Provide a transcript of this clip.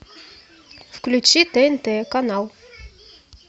включи тнт канал